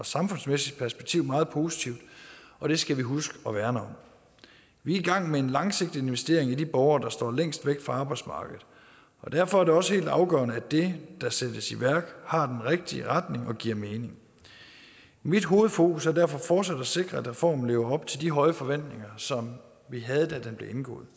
samfundsmæssigt perspektiv meget positivt og det skal vi huske at værne om vi er i gang med en langsigtet investering i de borgere der står længst væk fra arbejdsmarkedet og derfor er det også helt afgørende at det der sættes i værk har den rigtige retning og giver mening mit hovedfokus er derfor fortsat at sikre at reformen lever op til de høje forventninger som vi havde da den blev